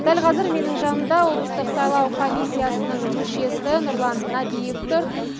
дәл қазір менің жанымда облыстық сайлау комиссиясының мүшесі нұрлан нәбиев тұр